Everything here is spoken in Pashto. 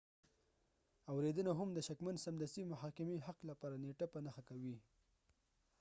اوریدنه هم د شکمن سمدستي محاکمې حق لپاره نیټه په نښه کوي